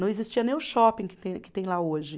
Não existia nem o shopping que tem, que tem lá hoje.